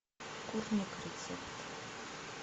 курник рецепт